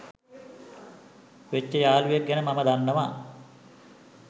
වෙච්ච යාලුවෙක් ගැන මම දන්නවා.